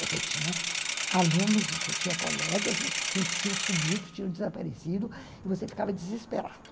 Você tinha alunos, você tinha colegas que tinham sumido, tinham desaparecido, e você ficava desesperado.